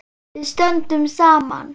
Við stöndum saman!